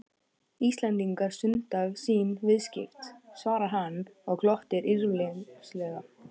Íslendingar stunda sín viðskipti, svaraði hann og glotti illyrmislega.